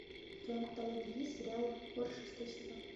в твоем каталоге есть сериал хор шестой сезон